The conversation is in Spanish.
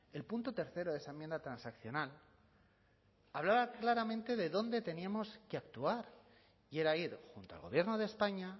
el punto tercero de esa enmienda transaccional hablaba claramente de dónde teníamos que actuar y era ir junto al gobierno de españa